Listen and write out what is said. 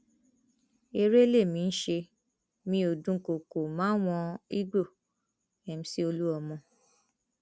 eré lèmi ń ṣe mí ó dúnkookò máwọn igbó omc olúmọ